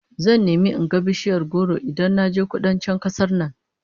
Zan nemi in ga bishiyar goro Idan naje Kudancin kasar nan